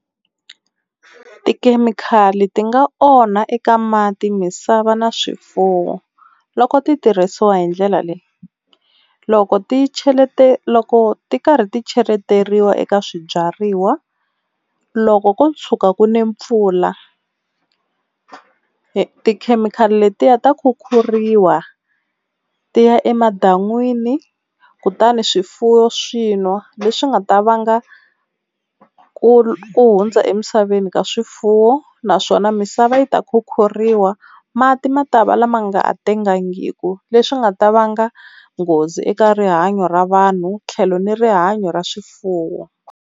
Tikhemikhali ti nga onha eka mati, misava na swifuwo loko titirhisiwa hi ndlela leyi. Loko ti Loko ti karhi ti cheleteriwa eka swibyariwa loko ko tshuka ku nile mpfula tikhemikhali letiya ta khukhuriwa ti ya emadan'wini kutani swifuwo swi nwa leswi nga ta vanga ku hundza emisaveni ka swifuwo naswona misava yi ta khukhuriwa mati ma ta va lama ma nga ha tekangiku leswi swi nga ta vanga nghozi eka rihanyo ra vanhu tlhelo ni rihanyo ra swifuwo.